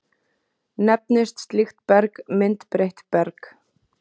Nefnist slíkt berg myndbreytt berg.